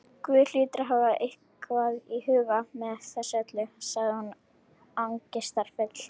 Guð hlýtur að hafa eitthvað í huga með þessu öllu- sagði hún angistarfull.